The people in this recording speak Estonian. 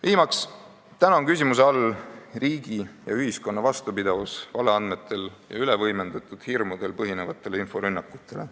Viimaks on täna küsimuse all ka riigi ja ühiskonna vastupidavus valeandmetel ja ülevõimendatud hirmudel põhinevatele inforünnakutele.